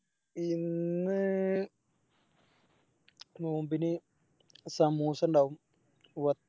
ഇന്ന് നോമ്പിന് സമൂസ ഇണ്ടാവും വ